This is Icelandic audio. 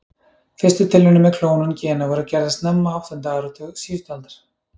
Fyrstu tilraunir með klónun gena voru gerðar snemma á áttunda áratug síðustu aldar.